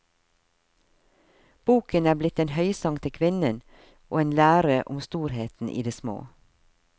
Boken er blitt en høysang til kvinnen og en lære om storheten i det små.